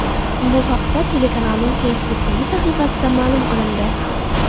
Bu haqda telekanalning Facebook’dagi sahifasida ma’lum qilindi .